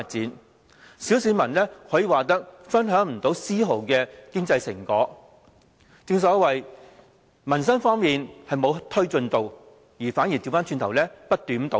可以說，小市民分享不到絲毫經濟成果。正所謂，在民生方面沒有推進，反而不斷倒退。